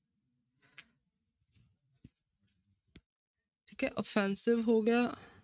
ਠੀਕ ਹੈ offensive ਹੋ ਗਿਆ।